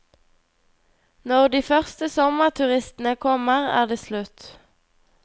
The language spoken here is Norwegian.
Når de første sommerturistene kommer, er det slutt.